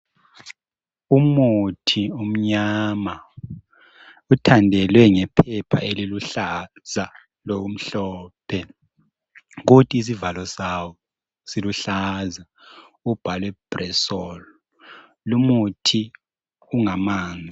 Umuthi omnyama uthandelwe ngephepha eliluhlaza lokumhlophe kodwa isivalo sawo siluhlaza ubhalwe bresol lumuthi ungamanzi